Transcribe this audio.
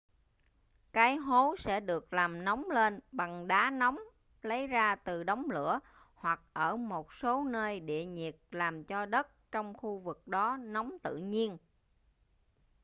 cái hố sẽ được làm nóng lên bằng đá nóng lấy ra từ đống lửa hoặc ở một số nơi địa nhiệt làm cho đất trong khu vực đó nóng tự nhiên